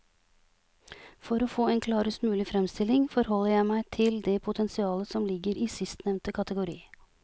For å få en klarest mulig fremstilling forholder jeg meg til det potensialet som ligger i sistnevnte kategori.